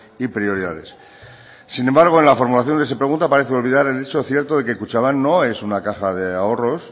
y prioridades sin embargo en la formulación que se pregunta parece olvidar el hecho cierto de que kutxabank no es una caja de ahorros